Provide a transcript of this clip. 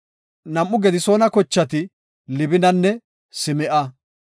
Nam7u Gedisoona kochati Libinanne Sim7a.